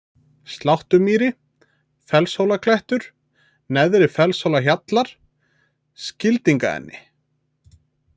Sláttumýri, Fellshólaklettur, Neðri-Fellshólahjallar, Skildingaenni